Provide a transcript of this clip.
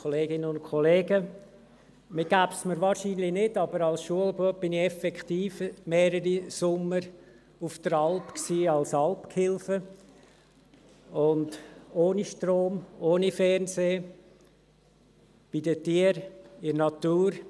Man würde es mir wahrscheinlich nicht geben, aber als Schulbub war ich effektiv mehrere Sommer als Alpgehilfe auf der Alp, ohne Strom, ohne Fernsehen, bei den Tieren, in der Natur.